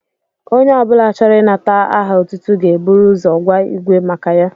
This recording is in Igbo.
Onye obula chọrọ inata aha otútú ga ébụrụ ụzọ gwa ígwé maka ya